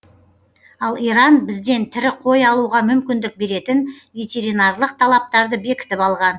ал иран бізден тірі қой алуға мүмкіндік беретін ветеринарлық талаптарды бекітіп алған